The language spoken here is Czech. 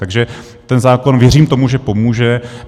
Takže ten zákon, věřím tomu, že pomůže.